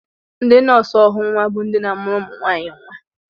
Ndị nọọsụ ọghọnnwa bụ ndị na-amụrụ ụmụnwaanyị nnwa